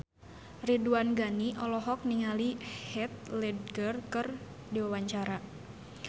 Ridwan Ghani olohok ningali Heath Ledger keur diwawancara